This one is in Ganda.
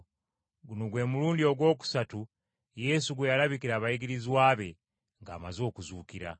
Guno gwe mulundi ogwokusatu Yesu gwe yalabikira abayigirizwa be, ng’amaze okuzuukira.